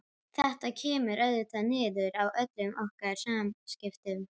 Þetta kemur auðvitað niður á öllum okkar samskiptum.